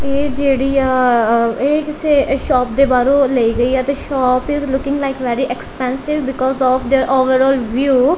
ਇਹ ਜੇਹੜੀ ਆ ਇਹ ਕਿਸੇ ਸ਼ੌਪ ਦੇ ਬਾਹਰੋਂ ਲੇਈ ਗਈ ਹੈ ਤੇ shop is looking like very expensive because of their overall view.